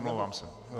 Omlouvám se.